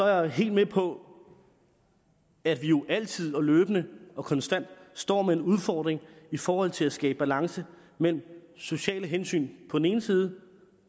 jeg helt med på at vi jo altid og løbende og konstant står med en udfordring i forhold til at skabe balance mellem sociale hensyn på den ene side